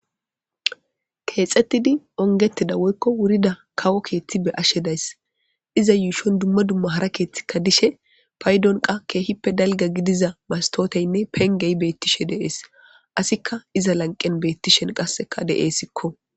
keexxettidi ongetida woykko wurida kawo keeththi be ashshe days iza yuushon dumma dumma hara keeththikka dishe paydon qa keehippe dalga gidiza mastooteynne pengey beettishe dees asikka iza lanqen beettishen qasseka de7essikko